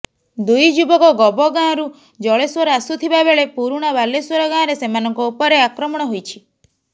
ଦୁଇ ଯୁବକ ଗବଗାଁରୁ ଜଳେଶ୍ୱର ଆସୁଥିବା ବେଳେ ପୁରୁଣା ବାଲେଶ୍ୱର ଗାଁରେ ସେମାନଙ୍କ ଉପରେ ଆକ୍ରମଣ ହୋଇଛି